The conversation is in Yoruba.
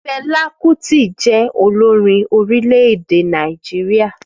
Fẹla Kuti jẹ́ olórin orílẹ̀-èdè Nàìjíríà